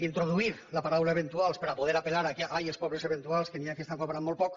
introduir la paraula eventuals per a poder apel·lar que ai els pobres eventuals que n’hi ha que estan cobrant molt poc